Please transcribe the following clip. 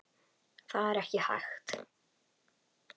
Það er ekki hægt